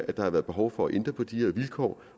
at der var behov for at ændre på de her vilkår